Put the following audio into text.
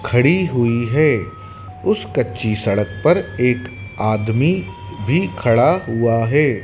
खड़ी हुई है। उस कच्ची सड़क पर एक आदमी भी खड़ा हुआ है।